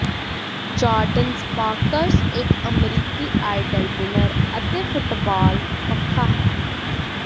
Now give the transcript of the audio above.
Jardin Sparks ਇੱਕ ਅਮਰੀਕੀ idol winner ਅਤੇ ਫੁਟਬਾਲ ਪੱਖਾ ਹੈ